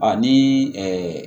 Ani